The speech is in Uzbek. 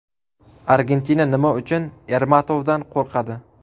Argentina nima uchun Ermatovdan qo‘rqadi?